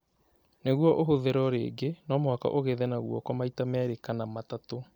Nĩguo ũhũthĩrũo rĩngĩ, no mũhaka ũgethe na guoko maita merĩ kana matatũ